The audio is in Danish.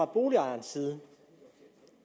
boligejerens side